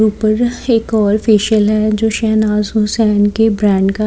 ऊपर एक और फेशियल है जो शहनाज हुसैन के ब्रांड का--